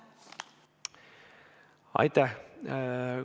Aitäh!